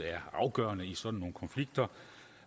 er afgørende i sådan nogle konflikter